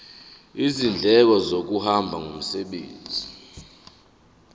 izindleko zokuhamba ngomsebenzi